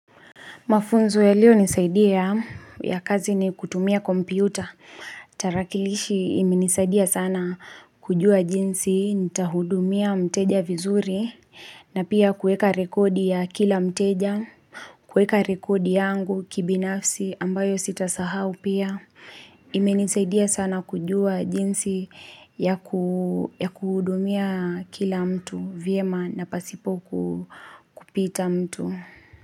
Mafunzo yaliyo nisaidia ya kazi ni kutumia kompyuta. Tarakilishi imenisaidia sana kujua jinsi, nitahudumia mteja vizuri, na pia kuweka rekodi ya kila mteja, kuweka rekodi yangu kibinafsi ambayo sitasahau pia. Imenisaidia sana kujua jinsi yaku ya kuhudumia kila mtu, vyema na pasipoku kupita mtu.